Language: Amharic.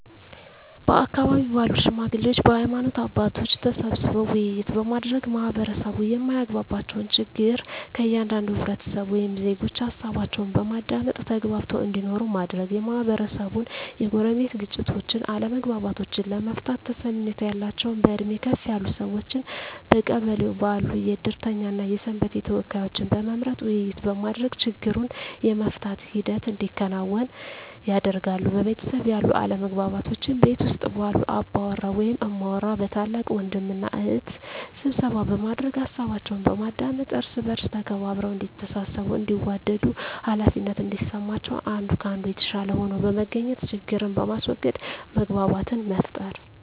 በአካባቢው ባሉ ሽማግሌዎች በሀይማኖት አባቶች ተሰብስበው ውይይት በማድረግ ማህበረሰቡ የማያግባባቸውን ችግር ከእያንዳንዱ ህብረተሰብ ወይም ዜጎች ሀሳባቸውን በማዳመጥ ተግባብተው እንዲኖሩ ማድረግ, የማህበረሰቡን የጎረቤት ግጭቶችን አለመግባባቶችን ለመፍታት ተሰሚነት ያላቸውን በእድሜ ከፍ ያሉ ሰዎችን በቀበሌው ባሉ የእድርተኛ እና የሰንበቴ ተወካዮችን በመምረጥ ውይይት በማድረግ ችግሩን የመፍታት ሂደት እንዲከናወን ያደርጋሉ። በቤተሰብ ያሉ አለመግባባቶችን ቤት ውስጥ ባሉ አባወራ ወይም እማወራ በታላቅ ወንድም እና እህት ስብሰባ በማድረግ ሀሳባቸውን በማዳመጥ እርስ በእርስ ተከባብረው እዲተሳሰቡ እንዲዋደዱ ሃላፊነት እንዲሰማቸው አንዱ ከአንዱ የተሻለ ሆኖ በመገኘት ችግርን በማስዎገድ መግባባትን መፍጠር።